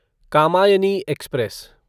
Kamayani express